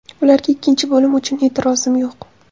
Ularga ikkinchi bo‘lim uchun e’tirozim yo‘q.